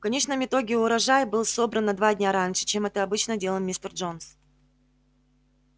в конечном итоге урожай был собран на два дня раньше чем это обычно делал мистер джонс